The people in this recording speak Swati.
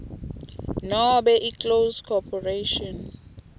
nobe iclose corporation